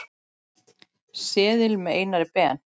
seðil með Einari Ben.